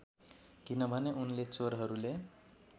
किनभने उनले चोरहरूले